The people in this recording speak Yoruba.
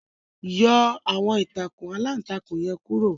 Yọ àwọn ìtakùn alantakùn yẹn kuro